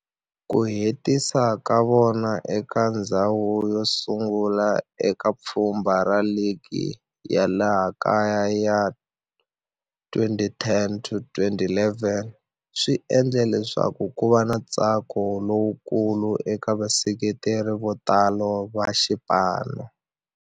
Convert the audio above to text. Ku hetisa ka vona eka ndzhawu yosungula eka pfhumba ra ligi ya laha kaya ya 2010-11 swi endle leswaku kuva na ntsako lowukulu eka vaseketeri votala va xipano.